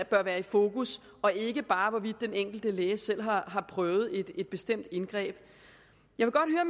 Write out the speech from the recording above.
bør være i fokus og ikke bare hvorvidt den enkelte læge selv har prøvet et bestemt indgreb det